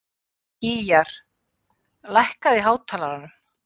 Gýgjar, lækkaðu í hátalaranum.